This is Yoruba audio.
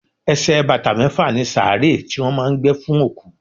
Ẹsẹ̀ bàtà mẹ́fà ni sàárè tí wọ́n máà ń gbé fún òkú.